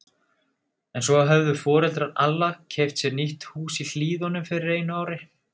En svo höfðu foreldrar Alla keypt sér nýtt hús í Hlíðunum fyrir einu ári.